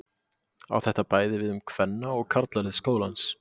Á þetta bæði við um kvenna- og karlalið skólans.